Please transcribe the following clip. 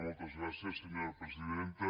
moltes gràcies senyora presidenta